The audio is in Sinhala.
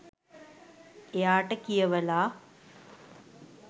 එයාට කියවලා